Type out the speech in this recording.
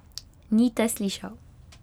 Ni te slišal.